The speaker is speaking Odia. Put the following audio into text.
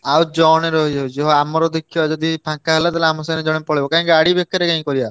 ଆଉ ଜଣେ ରହିଯାଉଛି ହଉ ଆମର ଦେ~ ଖିବା~ ଯଦି ଫାଙ୍କା ହେଲା ତାହେଲେ ଆମ ସାଙ୍ଗରେ ଜଣେ ପଳେଇବ କାହିଁକି ଗାଡି ବେ~ କାରେ~ କାଇଁ କରିଆ।